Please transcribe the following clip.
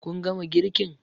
Kun gama girkin?